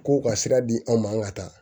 K'u ka sira di anw ma ka taa